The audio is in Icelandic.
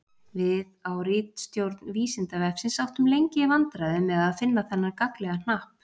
Við á ritstjórn Vísindavefsins áttum lengi í vandræðum með að finna þennan gagnlega hnapp.